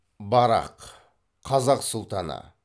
барақ қазақ сұлтаны